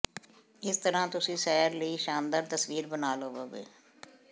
ਇਸ ਤਰ੍ਹਾਂ ਤੁਸੀਂ ਸੈਰ ਲਈ ਸ਼ਾਨਦਾਰ ਤਸਵੀਰ ਬਣਾ ਲਵੋਗੇ